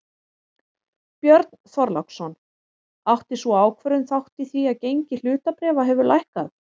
Björn Þorláksson: Átti sú ákvörðun þátt í því að gengi hlutabréfa hefur lækkað?